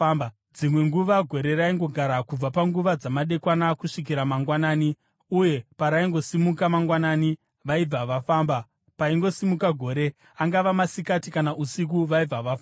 Dzimwe nguva gore raingogara kubva panguva dzamadekwana kusvikira mangwanani, uye paraingosimuka mangwanani vaibva vafamba. Paingosimuka gore, angava masikati kana usiku, vaibva vafamba.